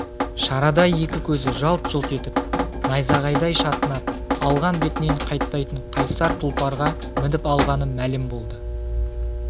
шарадай екі көзі жалт-жұлт етіп найзағайдай шатынап алған бетінен қайтпайтын қайсар тұлпарға мініп алғаны мәлім болды